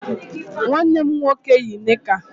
Nwanne m nwoke yi nịka.